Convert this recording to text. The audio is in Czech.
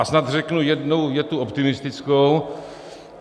A snad řeknu jednu větu optimistickou.